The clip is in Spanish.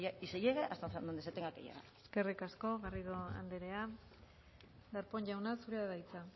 y se llegue hasta dónde se tenga que llegar eskerrik asko garrido andrea darpón jauna zurea da hitza